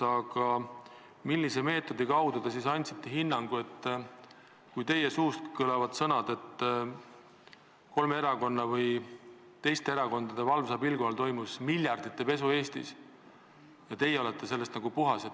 Aga millise meetodiga te hinnangu andsite, kui teie suust kõlasid sõnad, et kolme erakonna või teiste erakondade valvsa pilgu all toimus Eestis miljardite eurode pesu ja teie olete sellest puhas?